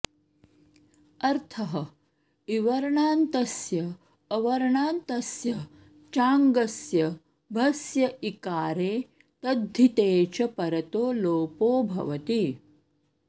अर्थः इवर्णान्तस्य अवर्णान्तस्य चाङ्गस्य भस्य ईकारे तद्धिते च परतो लोपो भवति